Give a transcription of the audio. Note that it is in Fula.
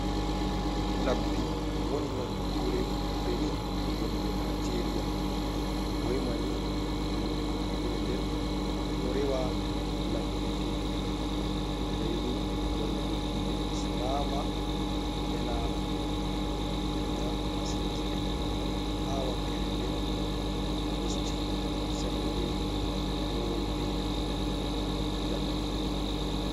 Labbi woni nokkure benin wonde naijeria, ɓoima ni himɓɓe nokkure nden to rewa labbi ɗin, saini warugo diina islama, ena diina masinki'en, ha wakere nden usti sembe rewoɓe labbi ɗin.